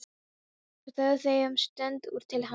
Svo þögðu þau um stund þar til hann sagði